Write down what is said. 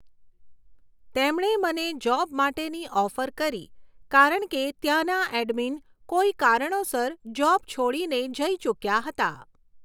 તેમણે મને જૉબ માટેની ઑફર કરી કારણ કે ત્યાંના એડમિન કોઈ કારણોસર જૉબ છોડીને જઈ ચૂક્યા હતા